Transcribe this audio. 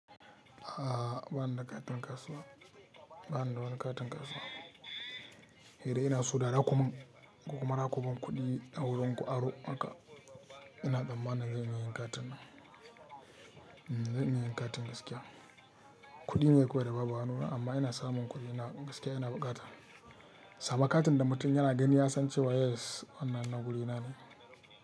A'a, ba ni da katin kasuwa, ba ni da wani katin kasuwa. Hira ina so dada kumin, ko kuma da kuban kuɗi a wurin ku aro haka, ina tsammanin zan iya yin katin, zan iya yin katin gaskiya. Kuɗi ne kawai da babu a hanuna, amma ina samun kuɗi na gaskiya ina buƙata. Saba katin da mutum yana gani ya san cewa yes wannan na guri na ne.